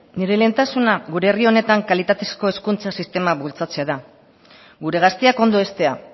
nire lehentasuna gure herri honetan kalitatezko hezkuntza sistema bultzatzea da gure gazteak ondo heztea